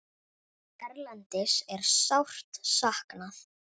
Erlends er sárt saknað.